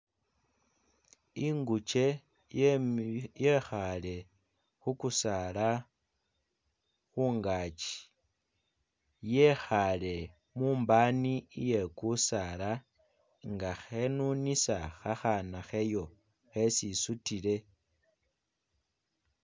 Inguje yemi yekhaale khukusaala mungaki yekhaale mumbani iye kusaala nga khenunisa akhana kheyo khesi isutile.